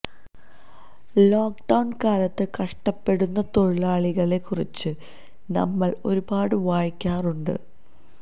lock down കാലത്ത് കഷ്ടപ്പെടുന്ന തൊഴിലാളികളെ കുറിച്ച് നമ്മൾ ഒരുപാട് വായിക്കാറുണ്ട്